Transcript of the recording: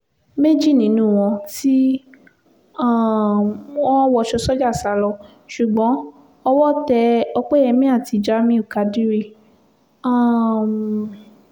méjì nínú wọn tí um wọ́n wọṣọ sójà sá lọ ṣùgbọ́n owó tẹ òpẹ́yẹmi àti jamiu kádírì um